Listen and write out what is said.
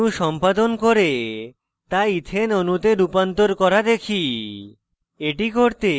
এখন এই অণু সম্পাদন করে তা ethane ethane অণুতে রূপান্তর করা দেখি